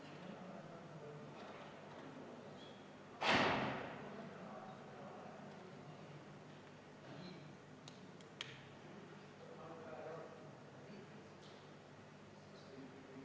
See üldine "aga" või probleem on ikkagi see, et Vabariigi Valitsus ilmselgelt ei ole headel aegadel, kui majanduse konjunktuur on positiivne, piisavalt tulevikku investeerinud.